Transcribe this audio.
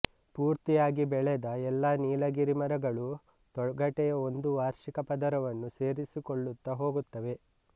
ಪೂರ್ತಿಯಾಗಿ ಬೆಳೆದ ಎಲ್ಲಾ ನೀಲಗಿರಿ ಮರಗಳೂ ತೊಗಟೆಯ ಒಂದು ವಾರ್ಷಿಕ ಪದರವನ್ನು ಸೇರಿಸಿಕೊಳ್ಳುತ್ತಾ ಹೋಗುತ್ತವೆ